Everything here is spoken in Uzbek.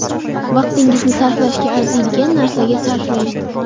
Vaqtingizni sarflashga arziydigan narsaga sarflang.